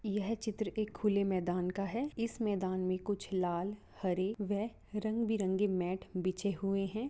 यह चित्र एक खुले मैदान का है इस मैदान में कुछ लाल हरे वेह रंग बिरंगी मेट बिछे हुए है।